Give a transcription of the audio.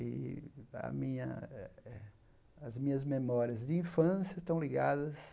E a minha eh as minhas memórias de infância estão ligadas...